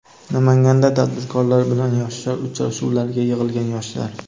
Namanganda tadbirkorlar bilan yoshlar uchrashuvlariga yig‘ilgan yoshlar.